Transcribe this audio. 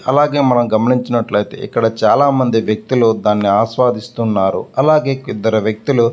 అలాగే మనం గమనించినట్లైతే ఇక్కడ చాల మంది వ్యక్తులు దాన్ని ఆస్వాదిస్తున్నారు అలాగే ఇద్దరు వ్యక్తులు --